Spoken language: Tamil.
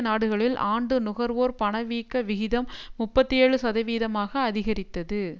நாடுகளில் ஆண்டு நுகர்வோர் பணவீக்க விகிதம் முப்பத்தி ஏழு சதவீதமாக அதிகரித்தது